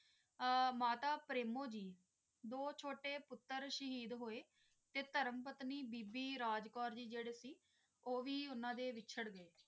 ਆ ਮਾਤਾ ਪ੍ਰੇਮੋ ਜੀ ਦੇ ਦੋ ਛੋਟੇ ਪੁੱਤਰ ਸ਼ਹੀਦ ਹੋਏ ਤੇ ਧਰਮ ਪਤਨੀ ਬੀਬੀ ਰਾਜ ਕੌਰ ਜੀ ਜੈਰੇ ਸੀ ਓ ਵੀ ਉਨ੍ਹਾਂ ਦੇ ਵਿਚਾਰ ਗਏ